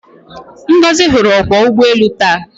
Ngozi hụrụ ọkwọụgbọelu taa.